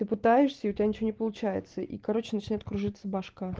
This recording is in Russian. ты пытаешься и у тебя ничего не получается и короче начинает кружиться бошка